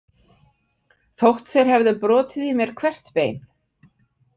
Þótt þeir hefðu brotið í mér hvert bein.